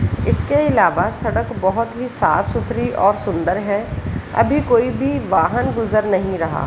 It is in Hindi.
इसके अलावा सड़क बोहोत ही साफ-सूथरी और सुंदर है अभी कोई भी वाहन गुजर नहीं रहा।